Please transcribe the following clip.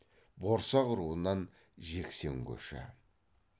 борсақ руынан жексен көші